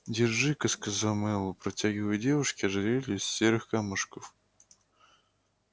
держи-ка сказал мэллоу протягивая девушке ожерелье из серых камушков